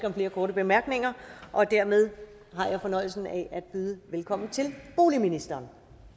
om flere korte bemærkninger og dermed har jeg fornøjelsen af at byde velkommen til boligministeren